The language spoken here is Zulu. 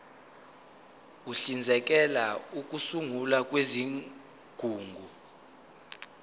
uhlinzekela ukusungulwa kwezigungu